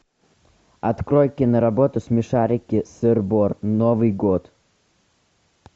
открой киноработу смешарики сыр бор новый год